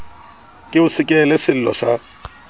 ke o sekehele sello sa